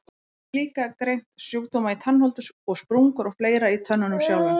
Hann getur líka greint sjúkdóma í tannholdi og sprungur og fleira í tönnunum sjálfum.